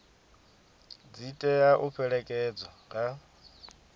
dzi tea u fhelekedzwa nga